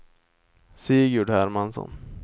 Sigurd Hermansson